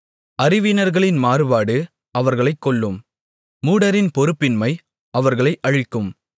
அறிவீனர்களின் மாறுபாடு அவர்களைக் கொல்லும் மூடரின் பொறுப்பின்மை அவர்களை அழிக்கும்